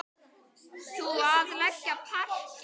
Þú að leggja parket.